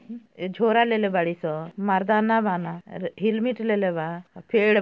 झोरा लेले बाड़ी स मर्दाना बना हेलमेट लेले बा फेड --